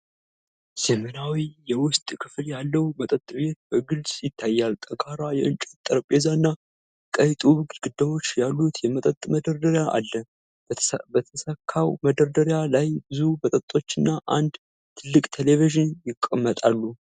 ዘመናዊ የውስጥ ክፍል ያለው መጠጥ ቤት በግልጽ ይታያል። ጠንካራ የእንጨት ጠረጴዛና ቀይ ጡብ ግድግዳዎች ያሉት የመጠጥ መደርደሪያ አለ። በተሰካው መደርደሪያ ላይ ብዙ መጠጦችና አንድ ትልቅ ቴሌቪዥን ይቀመጣሉ።